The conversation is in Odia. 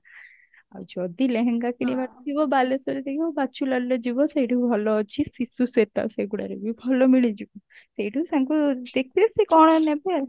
ଆଉ ଯଦି ଲେହେଙ୍ଗା କିଣିବାର ଥିବ ବାଲେଶ୍ଵର ରେ ଯାଇକି ଦକ୍ଷୁଲାଲ ଯିବ ସେଉଠୁ ଭଲ ଅଛି ସେଗୁଡାରେ ବି ଭଲ ମିଳିଯିବ ସେଉଠୁ ତାଙ୍କୁ ଦେଖିବେ ସେ କଣ ନେବେ